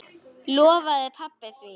Lofaði pabba því.